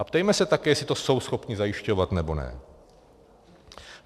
A ptejme se také, jestli to jsou schopni zajišťovat, nebo ne.